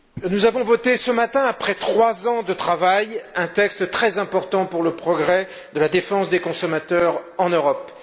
Madame la Présidente, nous avons voté ce matin, après trois ans de travail, un texte très important pour le progrès de la défense des consommateurs en Europe.